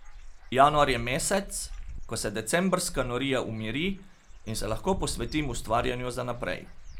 Januar je mesec, ko se decembrska norija umiri in se lahko posvetim ustvarjanju za naprej.